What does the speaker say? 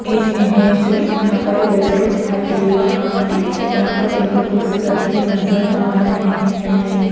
इस इमेज में यहां पर एक रेस्टोरेंट दिखाई दे रहा है जहां पर टेबल कुर्सी रखे नजर आ रहे हैं।